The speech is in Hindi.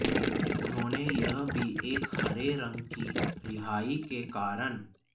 उन्होंने यह भी एक हरे रंग की रिहाई के कारण